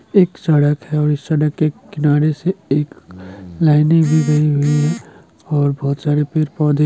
एक सड़क है और इस सड़क के किनारे से एक लाइन दी गई हुई है और बहुत सारे पेड़-पौधे--